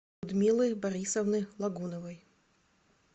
людмилы борисовны логуновой